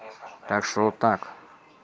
так что вот так